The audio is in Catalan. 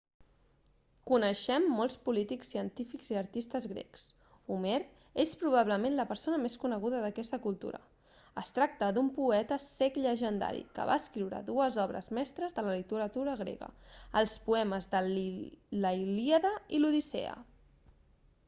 coneixem molts polítics científics i artistes grecs homer és probablement la persona més coneguda d'aquesta cultura es tracta d'un poeta cec llegendari que va escriure dues obres mestres de la literatura grega els poemes de la ilíada i l'odissea